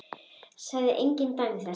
Sagði engin dæmi þess.